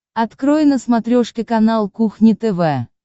открой на смотрешке канал кухня тв